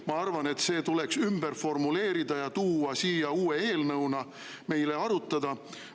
Ma arvan, et see tuleks ümber formuleerida ja tuua siia uue eelnõuna meile arutada.